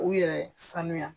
U yɛrɛ sanuya.